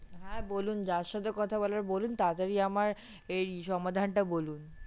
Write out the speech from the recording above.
হ্যাঁ বলুন যার সাথে কথা বলার বলুন তাড়া তাড়ি আমার এই সমাধানটা বলুন।